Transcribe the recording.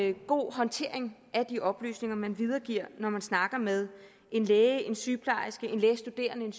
en god håndtering af de oplysninger man videregiver når man snakker med en læge en sygeplejerske en lægestuderende en